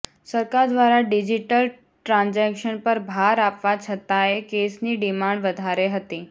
સરકાર દ્વારા digital transaction પર ભાર આપવા છતાંયે કેસની ડિમાંડ વધારે હતી